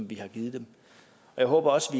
vi har givet dem og jeg håber også